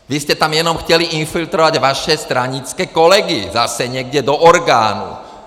Vy jste tam jenom chtěli infiltrovat vaše stranické kolegy zase někam do orgánů!